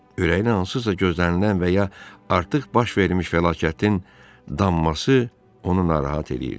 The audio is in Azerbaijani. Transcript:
Ürəyinə hansısa gözlənilən və ya artıq baş vermiş fəlakətin damması onu narahat eləyirdi.